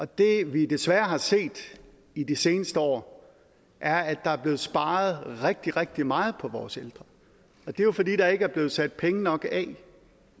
det vi desværre har set i de seneste år er at der er blevet sparet rigtig rigtig meget på vores ældre og det er jo fordi der ikke er blevet sat penge nok af